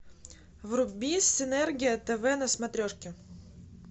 вруби синергия тв на смотрешке